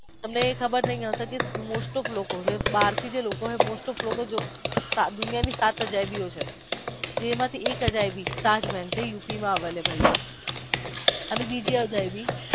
અને એ ખબર છે most of દુનિયાની સાત અજાયબી ઓ છે. જેમાંથી એક અજાયબી તાજમહાલ છે